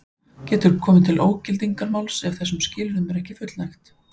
Getur komið til ógildingarmáls ef þessum skilyrðum er ekki fullnægt.